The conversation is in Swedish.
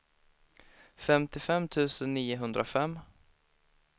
femtiofem tusen niohundrafem